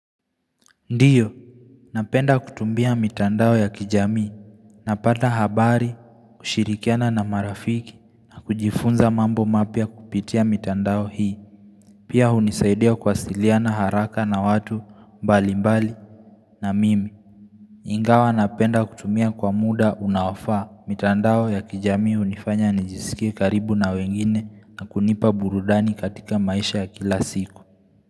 Ndiyo. Napenda kutumbia mitandao ya kijami. Napata habari, kushirikiana na marafiki, na kujifunza mambo mapya kupitia mitandao hii. Pia hunisaidia kuwasiliana haraka na watu mbali mbali na mimi. Ingawa napenda kutumia kwa muda unaofaa. Mitandao ya kijamii hunifanya nijisikia karibu na wengine na kunipa burudani katika maisha ya kila siku.